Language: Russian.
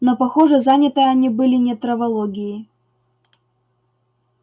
но похоже заняты они были не травологией